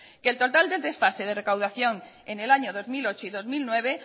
que el total del desfase de recaudación en el año dos mil ocho y dos mil nueve